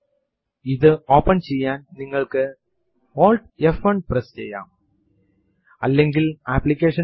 case sensitive അല്ല എന്ന് സൂചിപ്പിക്കാത്ത പക്ഷം ഇവിടെ എല്ലാ കമാൻഡ് കളും അതിന്റെ ഓപ്ഷൻസ് കളും സ്മോൾ ലെറ്റേർസ് ൽ ആണ്